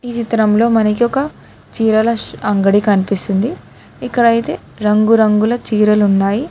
చిత్రం లో మనకి ఒక చీరల ష్ అంగడి కనిపిస్తుంది ఇక్కడ అయితే రంగురంగుల చీరలు ఉన్నాయి.